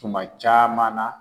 Tuma caman na